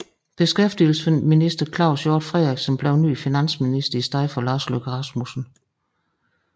Beskæftigelsesminister Claus Hjort Frederiksen blev ny finansminister i stedet for Lars Løkke Rasmussen